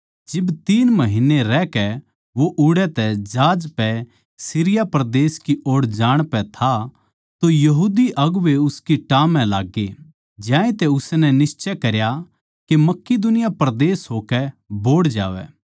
जिब तीन महीन्ने रहकै वो ओड़ै तै जहाज पै सीरिया परदेस की ओड़ जाण पै था तो यहूदी अगुवें उसकी टाह म्ह लाग्गे ज्यांतै उसनै निश्चय करया के मकिदुनिया परदेस होकै बोहड़ जावै